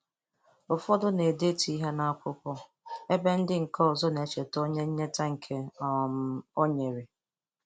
Ụfọdụ na-edetu ihe n'akwụkwọ ebe ndị nke ozọ na-echeta onye nyete nke um o nyere.